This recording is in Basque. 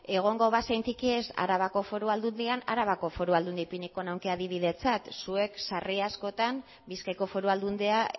egongo bazentikiez arabako foru aldundian arabako foru aldundi ipiniko nuke adibidetzat zuek sarri askotan bizkaiko foru aldundia